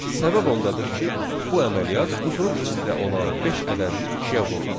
Səbəb ondadır ki, bu əməliyyat qutunun içində olan beş ədədini ikiyə vurdu.